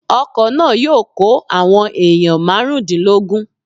Ọkọ̀ náà yóò kó àwọn èèyàn márùndínlógún